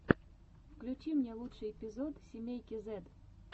включи мне лучший эпизод семейки зэд